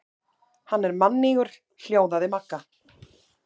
Hann er mannýgur hljóðaði Magga.